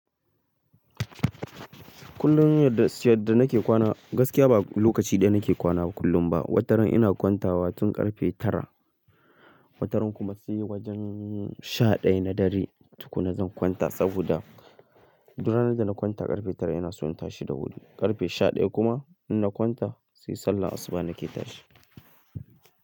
Kullum yadda nake kwana gaskiya ba lokaci ɗaya nake kwana kullum ba. Wataran ina kwantawa tun ƙarfe tara, wataran kuma sai wajen sha ɗaya na dare tuƙun na zan kwanta saboda, duran da na kwanta ƙarfe tara ina so in tashi da hudu. Ƙarfe sha ɗaya kuma in na kwanta sai sallar asuba nake tashi.